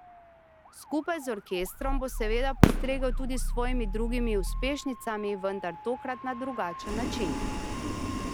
Skupaj z orkestrom bo seveda postregel tudi s svojimi drugimi uspešnicami, vendar tokrat na drugačen način.